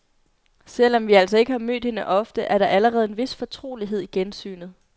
Selv om vi altså ikke har mødt hende ofte er der allerede en vis fortrolighed i gensynet.